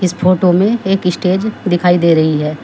इस फोटो में एक स्टेज दिखाई दे रही है।